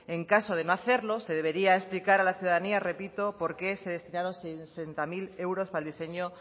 en caso de no hacerlo se debería explicar a la ciudadanía repito porque se destinaron sesenta mil euros para el diseño